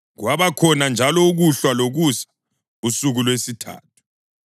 Kwabakhona njalo ukuhlwa lokusa, usuku lwesithathu.